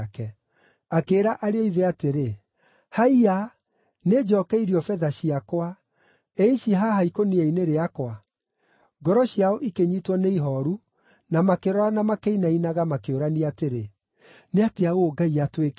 Akĩĩra ariũ a ithe atĩrĩ, “Haiya, nĩnjookeirio betha ciakwa; ĩ ici haha ikũnia-inĩ rĩakwa.” Ngoro ciao ikĩnyiitwo nĩ ihooru na makĩrorana makĩinainaga, makĩũrania atĩrĩ, “Nĩ atĩa ũũ Ngai atwĩkĩte?”